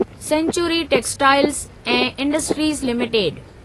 sanctuary textiles ऐं industries limited